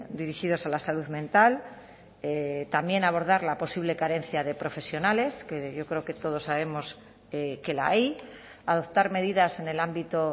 dirigidos a la salud mental también abordar la posible carencia de profesionales que yo creo que todos sabemos que la hay adoptar medidas en el ámbito